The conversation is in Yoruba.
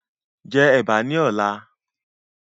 Jẹ ẹ̀bà ní ọ̀la